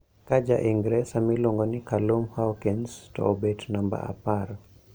Ka ja Ingresa miluongo ni Callum Hawkins to obet namba apar